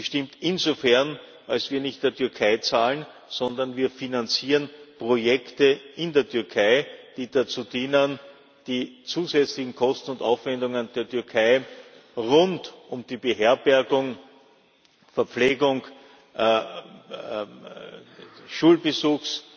Sie stimmt insofern, als wir nicht der Türkei zahlen, sondern wir finanzieren Projekte in der Türkei, die dazu dienen, die zusätzlichen Kosten und Aufwendungen der Türkei rund um die Beherbergung, die Verpflegung, den Schulbesuch